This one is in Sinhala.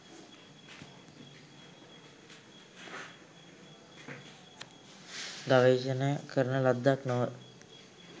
ගවේෂණය කරන ලද්දක් නොව